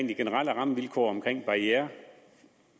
de generelle rammevilkår og om barrierer